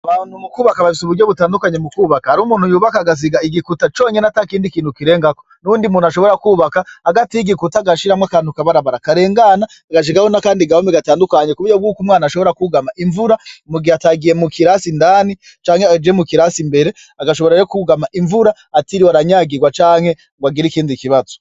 Abantu mu kwubaka bafise uburyo butandukanye mu kwubaka. Hariho umuntu yubaka agasiga igikuta conyene atakindi kintu kirengako. N'uwundi muntu ashobora kwubaka hagati y'igikuya agashiramwo akantu kakabarabara karengana agashiraho nakandi gahome atandukanye kuburyo yuko umwana ashobora kwugama imvura mu gihe atagiye mu kirasi Indani canke mu kirasi imbere. Agashobora rero kwugama imvura atiriwe aranyagirwa canke ngo agire ikindi kibazo.